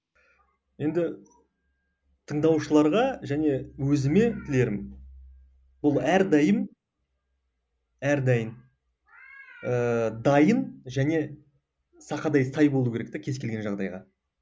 енді тыңдаушыларға және өзіме тілерім ол әрдайым әрдайым ыыы дайын және сақадай сай болу керек те кез келген жағдайға